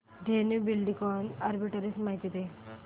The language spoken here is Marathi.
धेनु बिल्डकॉन आर्बिट्रेज माहिती दे